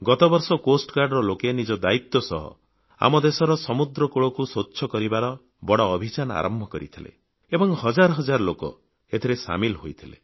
ଗତ ବର୍ଷ ତଟରକ୍ଷୀ ବାହିନୀର ଲୋକେ ନିଜ ଦାୟିତ୍ୱ ସହ ଆମ ଦେଶର ସମୁଦ୍ରକୂଳକୁ ସ୍ୱଚ୍ଛ କରିବାର ବଡ଼ ଅଭିଯାନ ଆରମ୍ଭ କରିଥିଲେ ଏବଂ ହଜାର ହଜାର ଲୋକ ଏଥିରେ ସାମିଲ ହୋଇଥିଲେ